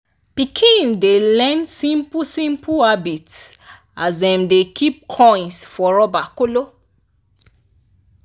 pikin dem dey learn simple-simple habits as dem dey keep coins for rubber kolo.